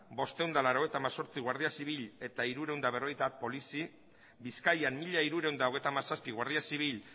bostehun eta laurogeita hemezortzi guardia zibil eta trescientos cincuenta polizi bizkaian mila hirurehun eta hogeita hamazazpi guardia zibil